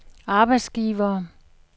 arbejdsgivere